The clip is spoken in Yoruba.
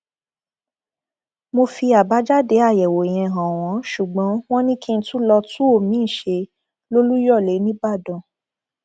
mo fi àbájáde àyẹwò yẹn hàn wọn ṣùgbọn wọn ni kí n tún lọọ tún omiín ṣe lolùyọlé nìbàdàn